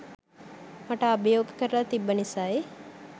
මට අභියෝග කරල තිබ්බ නිසයි